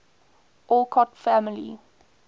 alcott family